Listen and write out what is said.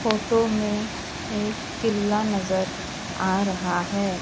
Photo में एक किल्ला नजर आ रहा है।